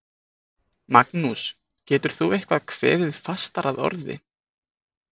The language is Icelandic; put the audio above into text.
Magnús, getur þú eitthvað kveðið fastar að orði?